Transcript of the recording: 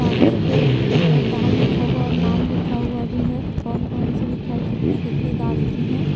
कागज पे दाम लिखा हुआ और नाम लिखा हुआ भी है कि कौन-कौन सी मिठाई कितने-कितने दाम की हैं।